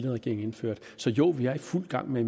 regering indførte så jo vi er i fuld gang med